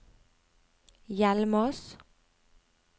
Hjelmås